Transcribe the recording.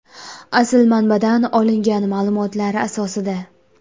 Asl manbadan olingan ma’lumotlar asosida.